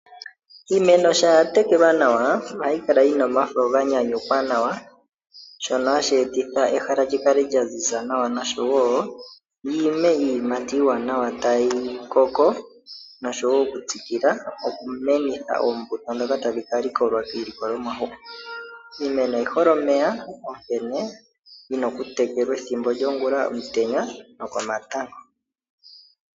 Iimeno shampa ya tekelwa nawa ohayi kala yi na omafo ga nyanyukwa nawa , shono hashi e titha ehala li kale lya ziza nawa, oshowo dhi ime iiyimati iiwanawa tayi koko noshowo okutsikila okumenitha oombuto ndhoka tadhi ka likolwa iilikolomwa hoka. Iimeno oyi hole omeya, onkene oyi na okutekelwa ethimbo lyongula, omutenya nokomatango.